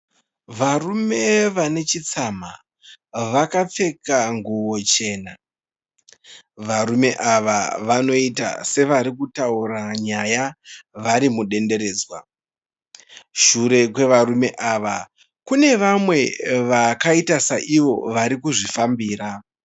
Varume vane chitsamha vakapfeka nguwo chena, varume ava vanoita sevarikutaura nyaya varimudenderedzwa. shure kwevarume ava kune vamwe vakaita saivo varikuzvifambira.